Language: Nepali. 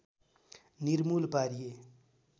निर्मूल पारिए